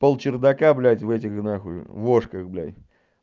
пол чердака блядь в этих нахуй вошках блядь